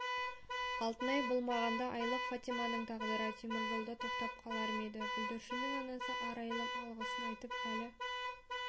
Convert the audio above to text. алтынай болмағанда айлық фатиманың тағдыры теміржолда тоқтап қалар ма еді бүлдіршіннің анасы арайлым алғысын айтып әлі